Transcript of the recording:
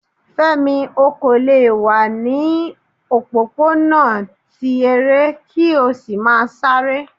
Fẹ́mi, o kò lè wà ní o òpópónà ti eré ki o sì má sáré.